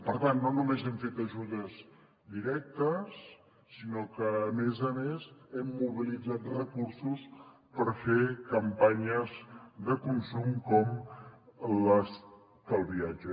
per tant no només hem fet ajudes directes sinó que a més a més hem mobilitzat recursos per fer campanyes de consum com l’estalviatge